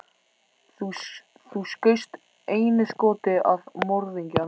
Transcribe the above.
Þú skaust einu skoti að morðingjanum.